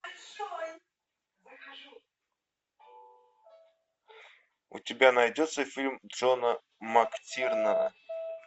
у тебя найдется фильм джона мактирнана